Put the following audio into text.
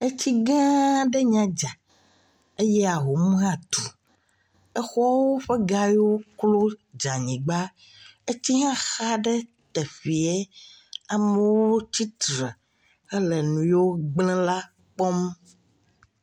Etsi gã aɖe nya dza eye ahom hã tu. Exɔwo ƒe gayewo klo dze anyigba, etsi hã xa ɖe teƒee, amewo tsitre hele nu yiwo gblẽ la kpɔm.